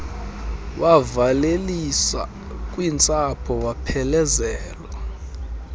wavalelisa kwintsapho waphelezelwa